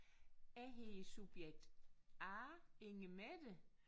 Jeg hedder subjekt A Inge Mette